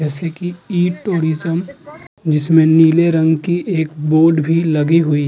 जैसे कि इ टूरिज़म जिसमें नीले रंग की एक बोर्ड भी लगी हुई --